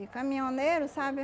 E caminhoneiro, sabe?